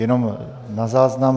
Jenom na záznam.